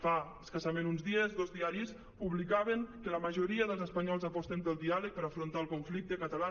fa escassament uns dies dos diaris publicaven que la majoria dels espanyols aposten pel diàleg per afrontar el conflicte català